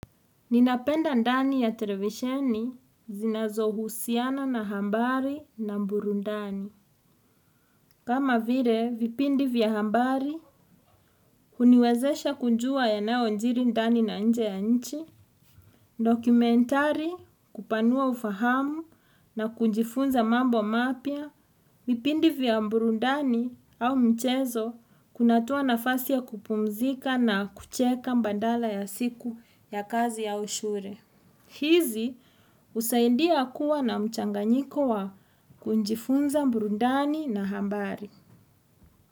Ninapenda ndani ya televisheni zinazohusiana na hambari na mburundani. Kama vire, vipindi vya hambari, huniwezesha kunjua yanayonjiri ndani na nje ya nchi, dokumentari, kupanua ufahamu na kunjifunza mambo mapya, vipindi vya mburundani au mchezo, kunatoa nafasi ya kupumzika na kucheka mbandala ya siku ya kazi au ushure. Hizi husaidia kuwa na mchanganyiko wa kunjifunza mburundani na hambari.